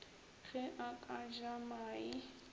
ge a ka ja mae